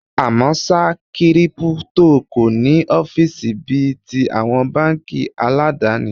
À mọ́ ṣá, Kírípútò kò ní ọ́fíìsì bí i ti àwọn báńkì aládàni.